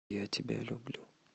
я тебя люблю